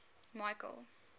michael